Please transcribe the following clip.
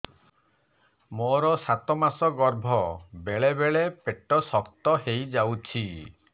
ମୋର ସାତ ମାସ ଗର୍ଭ ବେଳେ ବେଳେ ପେଟ ଶକ୍ତ ହେଇଯାଉଛି